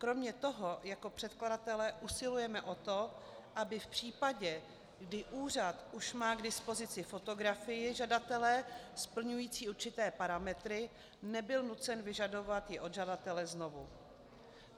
Kromě toho jako předkladatelé usilujeme o to, aby v případě, kdy úřad už má k dispozici fotografii žadatele splňující určité parametry, nebyl nucen vyžadovat ji od žadatele znovu.